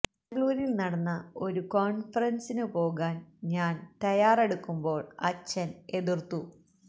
ബാംഗ്ലൂരില് നടന്ന ഒരു കോണ്ഫറന്സിനു പോകാന് ഞാന് തയാറെടുക്കുമ്പോള് അച്ഛന് എതിര്ത്തു